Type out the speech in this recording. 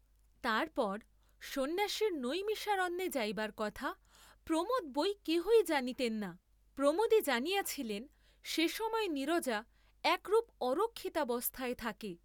তারপর সন্ন্যাসীর নৈমিষারণ্যে যাইবার কথা প্রমোদ বই কেহই জানিতেন না, প্রমোদই জানিয়াছিলেন সে সময়ে নীরজা একরূপ অরক্ষিতাবস্থায় থাকে।